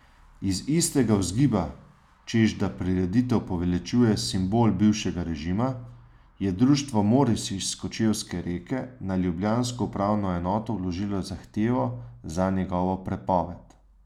Iz istega vzgiba, češ da prireditev poveličuje simbol bivšega režima, je društvo Moris iz Kočevske Reke na ljubljansko upravno enoto vložilo zahtevo za njegovo prepoved.